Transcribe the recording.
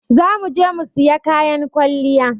Za mu je mu sayi kayan kwalliya.